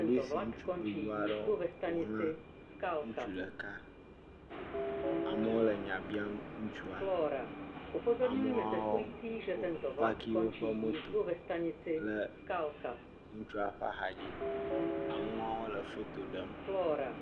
Polisi gbogbo aɖewo ƒo ʋlã ŋutsu ɖeka. Amewo le nya bia ŋutsua. Amewo wo paaki woƒe moto le ŋutsua ƒe axadzi. Amewo hã wole foto ɖem.